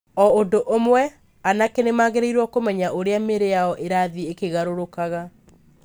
O ũndũ ũmwe, anake nĩ magĩrĩirũo kũmenya ũrĩa mĩĩrĩ yao ĩrathiĩ ĩkĩgarũrũkaga.